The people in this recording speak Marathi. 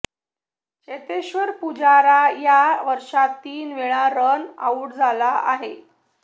चेतेश्वर पुजारा या वर्षात तीन वेळा रन आऊट झाला आहे